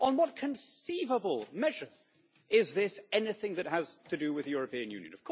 On what conceivable measure is this anything that has to do with the European Union?